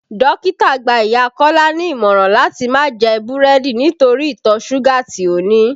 Dókítà gbá ìyá Kọ́lá ní ìmọ̀ràn láti máa jẹ búrẹ́dì nítorí ìtọ̀ súgà tí ó ní